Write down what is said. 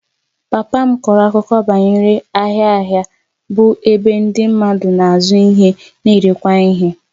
Papa m kọrọ akụkọ banyere ahịa ahịa, bụ́ ebe ndị mmadụ na-azụ ihe na-erekwa ihe.